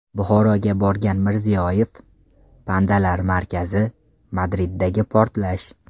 Buxoroga borgan Mirziyoyev, pandalar markazi, Madriddagi portlash.